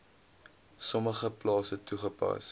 sommige plase toegepas